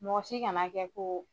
Mɔgɔ si kana kɛ ko